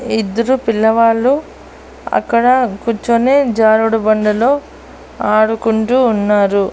ఇద్దరు పిల్లవాళ్ళు అక్కడ కూర్చొని జారుడుబండలో ఆడుకుంటూ ఉన్నారు.